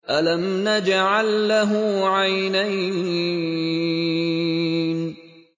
أَلَمْ نَجْعَل لَّهُ عَيْنَيْنِ